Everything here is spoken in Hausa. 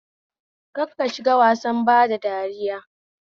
Kar ka shiga wasar bada dariya